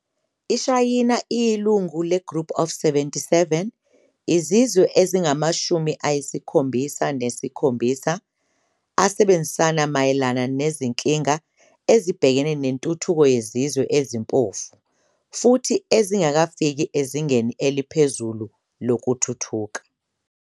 iShayina iyilunga le-"Group of 77", izizwe ezingamashumi ayisikhombisa nesikhombisa asebenzisana mayelana izinkinga ezibhekane nentuthuko yezizwe ezimpofu futhi ezingakafiki ezingeni eliphezulu lokuthuthuka.